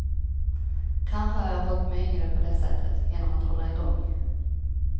Kanske har jag hållt mig yngre på det sättet, genom att hålla igång.